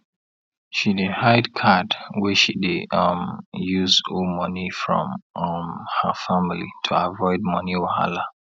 she dey hide card wey she dey um use owe money from um her family to avoid money wahala